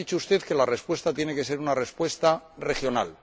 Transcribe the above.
Ha dicho usted que la respuesta tiene que ser una respuesta regional.